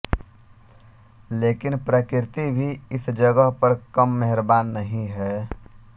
लेकिन प्रकृति भी इस जगह पर कम मेहरबान नहीं है